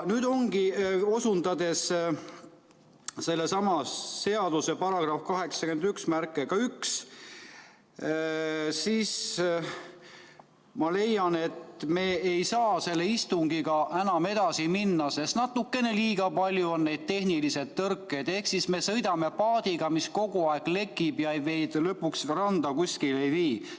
Osundades selle sama seaduse §-le 891, siis ma leian, et me ei saa selle istungiga enam edasi minna, sest natukene liiga palju on neid tehnilisi tõrkeid ehk siis me sõidame paadiga, mis kogu aeg lekib ja lõpuks randa kuskile ei vii.